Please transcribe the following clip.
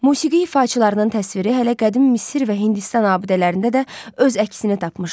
Musiqi ifaçılarının təsviri hələ qədim Misir və Hindistan abidələrində də öz əksini tapmışdı.